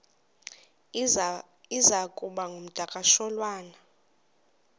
iza kuba ngumdakasholwana